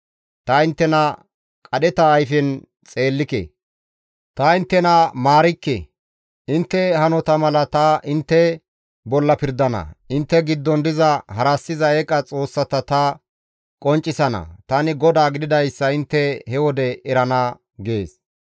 Ta inttena qadheta ayfen xeellike; ta inttena maarikke; intte hanota mala ta intte bolla pirdana; intte giddon diza harassiza eeqa xoossata ta qonccisana; tani GODAA gididayssa intte he wode erana› gees.